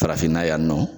Farafinna yan nɔ